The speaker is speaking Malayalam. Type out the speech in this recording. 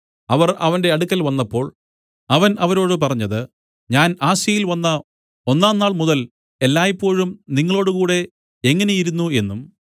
അവർ അവന്റെ അടുക്കൽ വന്നപ്പോൾ അവൻ അവരോട് പറഞ്ഞത് ഞാൻ ആസ്യയിൽ വന്ന ഒന്നാം നാൾമുതൽ എല്ലായ്പോഴും നിങ്ങളോടുകൂടെ എങ്ങനെയിരുന്നു എന്നും